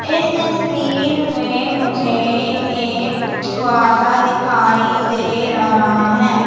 इस तस्वीर में मुझे एक छुहारा दिखाई दे रहा है।